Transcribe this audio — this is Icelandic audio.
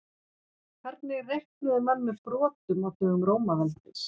Hvernig reiknuðu menn með brotum á dögum Rómaveldis?